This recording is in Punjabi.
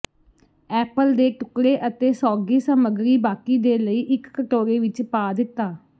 ਐਪਲ ਦੇ ਟੁਕੜੇ ਅਤੇ ਸੌਗੀ ਸਮੱਗਰੀ ਬਾਕੀ ਦੇ ਲਈ ਇੱਕ ਕਟੋਰੇ ਵਿੱਚ ਪਾ ਦਿੱਤਾ